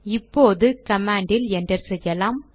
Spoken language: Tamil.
இப்போது கமாண்ட் என்டர் செய்யலாம்